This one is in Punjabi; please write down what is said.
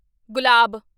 ਗੁਲਾਬ